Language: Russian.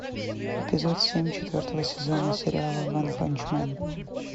эпизод семь четвертого сезона сериала ванпанчмен